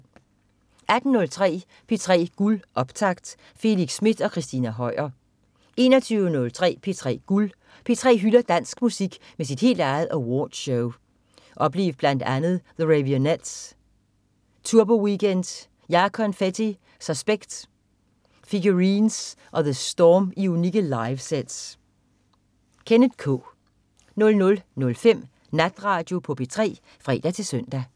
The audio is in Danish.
18.03 P3 Guld optakt. Felix Smith og Christina Høier 21.03 P3 Guld. P3 hylder dansk musik med sit helt eget Awardshow. Oplev blandt andet The Raveonettes, Turboweekend, JaConfetti, Suspekt, Figurines og The Storm i unikke live-sets. Kenneth K 00.05 Natradio på P3 (fre-søn)